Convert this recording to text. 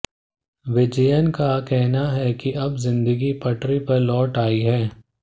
विजयन का कहना है कि अब जिंदगी पटरी पर लौट आई है